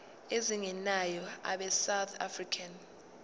ezingenayo abesouth african